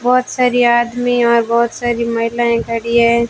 बहोत सारे आदमी और बहोत सारी महिलाएं खड़ी हैं।